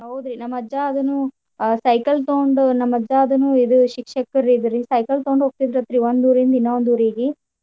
ಹೌದ್ರಿ ನಮ್ಮ ಅಜ್ಜಾ ಅದುನು ಆ cycle ತಗೊಂಡು ನಮ್ಮ ಅಜ್ಜಾ ಅದುನು ಇದು ಶಿಕ್ಷಕರಿದ್ರಿ cycle ತಗೊಂಡ್ ಹೋಗ್ತಿದ್ರ ಅಂತ್ರಿ ಒಂದ್ ಊರಿಂದ ಇನ್ನೊಂದ್ ಊರಿಗಿ.